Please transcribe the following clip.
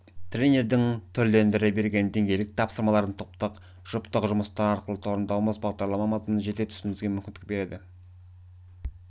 тренердің түрлендіре берген деңгейлік тапсырмаларын топтық жұптық жұмыстар арқылы орындауымыз бағдарлама мазмұнын жете түсінуімізге мүмкіндіктер берді